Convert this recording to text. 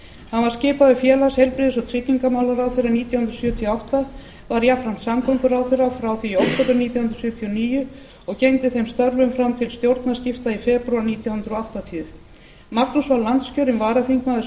hann var skipaður félags heilbrigðis og tryggingamálaráðherra nítján hundruð sjötíu og átta var jafnframt samgönguráðherra frá því í október nítján hundruð sjötíu og níu og gegndi þeim störfum fram til stjórnarskipta í febrúar nítján hundruð áttatíu magnús var landskjörinn varaþingmaður